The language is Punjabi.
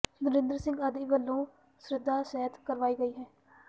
ਨਰਿੰਦਰ ਸਿੰਘ ਆਦਿ ਵਲੋਂ ਸ਼ਰਧਾ ਸਹਿਤ ਕਰਵਾਈ ਗਈ ਹੈ